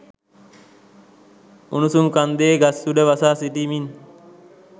උණුසුම් කන්දේ ගස් උඩ වසා සිටිමින්